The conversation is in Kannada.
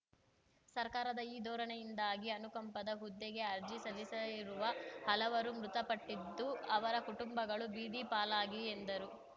ಸರ್ಕಾರದ ಈ ಧೋರಣೆಯಿಂದಾಗಿ ಅನುಕಂಪದ ಹುದ್ದೆಗೆ ಅರ್ಜಿ ಸಲ್ಲಿಸಿರುವ ಹಲವರು ಮೃತಪಟ್ಟಿದ್ದು ಅವರ ಕುಟುಂಬಗಳು ಬೀದಿ ಪಾಲಾಗಿ ಎಂದರು